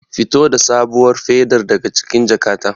Fito da sabuwar fedar daga cikin jakata.